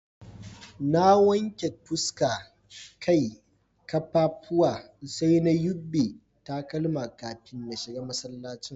Na wanke fuska, Kai, kaffafuwa sai na yubbe takalma kafin na shiga masallacin.